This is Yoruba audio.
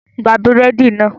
Gba búrẹ́dì náà